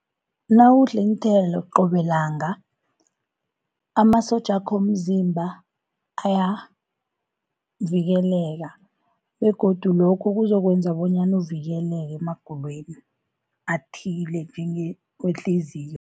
Nawudla iinthelo qobe langa amasotja wakho womzimba ayavikeleka, begodu lokhu kuzokwenza bonyana uvikeleke emagulweni athile njengewehliziyo.